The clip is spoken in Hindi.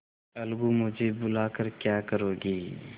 अलगूमुझे बुला कर क्या करोगी